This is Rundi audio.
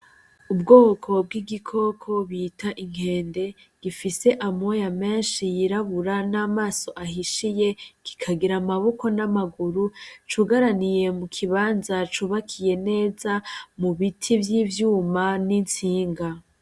Ubwoko bw'igiko bita inkende ,gifise amoya menshi yirabura n'amaso ahishiye kikagira amaboko n'amaguru ,cugaraniye mu kibanza cubakiye neza mubiti vy'ivyuma n'itsinga.